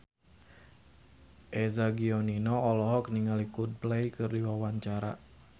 Eza Gionino olohok ningali Coldplay keur diwawancara